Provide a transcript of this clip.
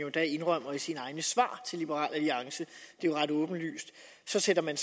endda indrømmer i sine egne svar til liberal alliance det er jo ret åbenlyst så sætter man